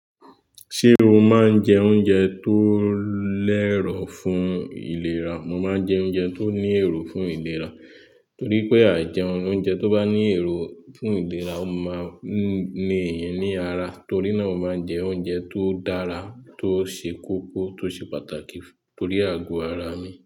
Ṣé o máa ń jẹ oúnjẹ tó lẹ́rọ̀ fún ìlera? Mo máa ń jẹ oúnjẹ tó ní èrò fún ìlera, torí pé àìjẹun oúnjẹ tó bá ní èrò fún ìlera, ó máa ń ní èèyàn ní ara, torí náà mo máa ń jẹ oúnjẹ tó dára, tó ṣe kókó, tó ṣe pàtàkì torí àgọ́ ara mi.